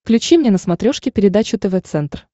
включи мне на смотрешке передачу тв центр